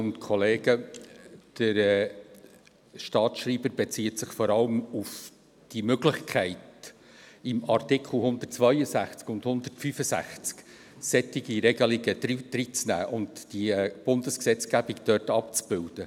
Der Staatsschreiber bezieht sich vor allem auf die Möglichkeit, in Artikel 162 und 165 solche Regelunge aufzunehmen und die Bundesgesetzgebung dort abzubilden.